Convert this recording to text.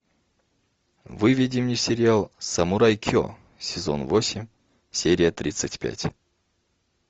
выведи мне сериал самурай ке сезон восемь серия тридцать пять